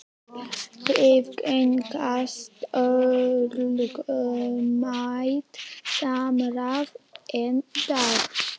Viðgengst ólögmætt samráð enn í dag?